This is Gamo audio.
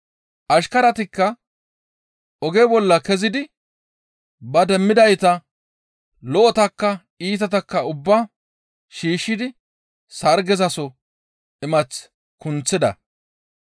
Ashkaratikka oge bolla kezidi ba demmidayta lo7otakka iitatakka ubbaa shiishshidi sargezaso imath kunththida.